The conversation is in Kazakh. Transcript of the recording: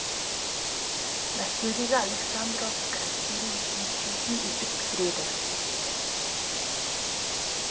мәскеудегі александровск әскери училищесін үздік бітіреді